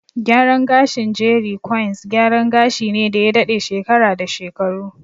Gyaran gashin "jeri kwains", gyaran gashi ne da ya daɗe shekara da shekaru.